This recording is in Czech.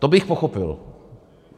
To bych pochopil.